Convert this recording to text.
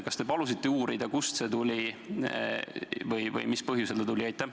Kas te palusite uurida, kust see tuli või mis põhjusel ta tuli?